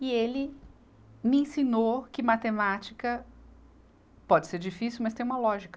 E ele me ensinou que matemática pode ser difícil, mas tem uma lógica.